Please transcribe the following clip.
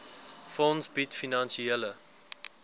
fonds bied finansiële